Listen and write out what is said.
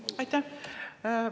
Aitäh!